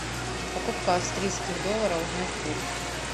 покупка австрийских долларов узнать курс